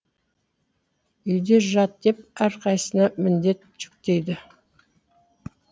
үйде жат деп әрқайсысына міндет жүктейді